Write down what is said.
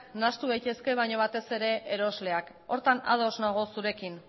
nahastu daitezke baino batez ere erosleak horretan ados nago zurekin